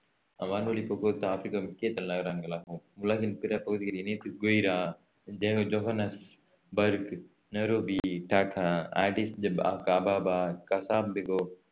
வான்வழிப் போக்குவரத்துக்கு ஆப்ரிக்காவின் முக்கிய தலைநகரங்களாகும் உலகின் பிற பகுதிகளில் இணைப்பு கெய்ரா ஜெக~ Johannesburg Nairobi Dakar Addis Ababa Casablanca